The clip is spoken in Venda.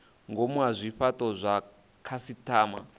ngomu ha zwifhato zwa khasitama